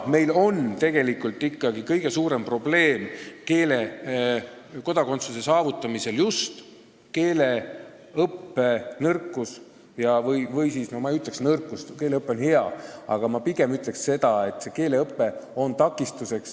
Meil on kõige suurem probleem kodakondsuse saavutamisel just keeleõppe nõrkus – ma ikka ei ütle nõrkus, sest keeleõpe on hea – või pigem see, et keeleõppe eest tuleb tasuda.